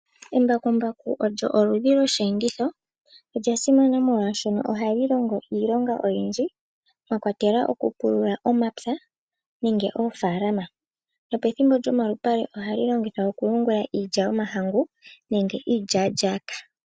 Embakumbaku olyo oludhi lwoshi enditho olya simana molwashono ohali longo iilonga oyindji mwakwatelwa oku pulula omapya nenge oofalama nopethimbo lyomalupale ohali longithwa oku yungula iilya yomahangu nenge iilya lyaka.